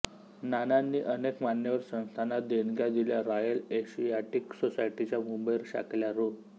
नानांनी अनेक मान्यवर संस्थांना देणग्या दिल्या रॉयल एशियाटिक सोसायटीच्या मुंबई शाखेला रु